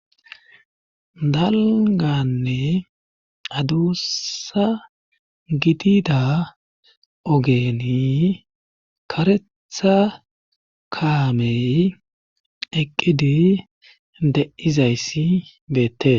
Dalganne aduussa gidida ogeeni karetha kaamey eqqidi de7izayssi beette.